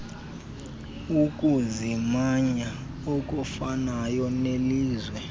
ukuzimanya okufanayo nelizwe